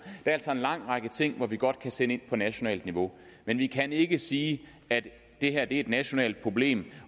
er altså en lang række ting hvor vi godt kan sætte ind på nationalt niveau men vi kan ikke sige at det her er et nationalt problem